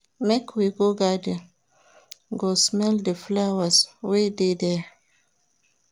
Make we go garden go smell di flowers wey dey there.